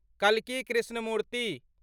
कल्की Krishnamurthy